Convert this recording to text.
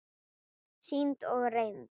Sýnd og reynd.